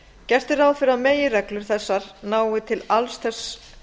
gert er ráð fyrir að meginreglur þessar nái til alls þess